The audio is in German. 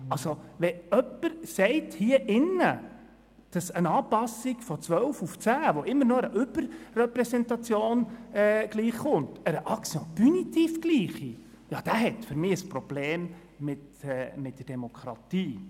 Jemand, der hier im Saal sagt, eine Anpassung von 12 auf 10, was immer noch einer Überrepräsentation gleichkommt, einer «action punitive» gleiche, hat für mich ein Problem mit der Demokratie.